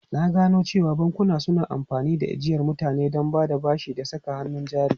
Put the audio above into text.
Na gano cewa bankuna suna amfani da ajiyar mutane don bada bashi da saka hannun jari.